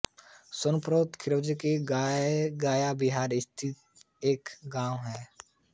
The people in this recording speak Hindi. सपनेरा खिज़िरसराय गया बिहार स्थित एक गाँव है